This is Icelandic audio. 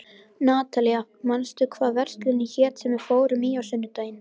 Natalía, manstu hvað verslunin hét sem við fórum í á sunnudaginn?